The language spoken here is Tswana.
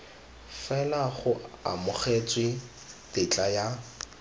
fela go amogetswe tetla ya